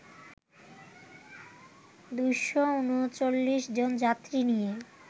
২৩৯ জন যাত্রী নিয়ে